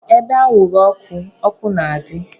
Ebe anwụrụ ọkụ, ọkụ na-adị.